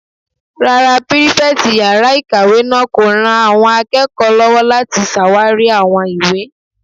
Rárá, pírífẹ̀tì yàrá-ìkàwé náà kò ran àwọn akẹ́kọ̀ọ́ lọ́wọ́ láti ṣàwarí àwọn ìwé